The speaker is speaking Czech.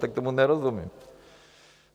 Tak tomu nerozumím.